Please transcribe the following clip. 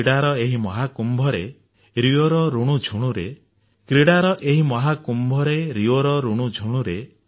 କ୍ରୀଡାର ଏହି ମହାକୁମ୍ଭରେ ରିଓର ରୁଣୁଝୁଣୁରେ